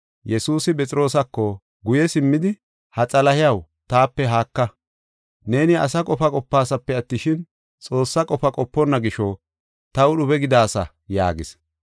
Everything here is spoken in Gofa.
Yesuusi Phexroosako guye simmidi, “Ha Xalahiyaw, taape haaka! Neeni asa qofa qopaasape attishin, Xoossaa qofa qoponna gisho taw dhube gidaasa” yaagis.